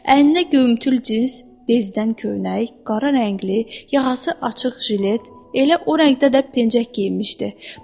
Əynində göyümtül cins bezdən köynək, qara rəngli, yaxası açıq jilet, elə o rəngdə də pencək geyinmişdi.